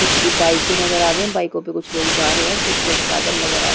कुछ बाइके नज़र आ रही है बाइकों पर कुछ लोग जा रहे है कुछ लोग पैदल नज़र आ रहे हैं।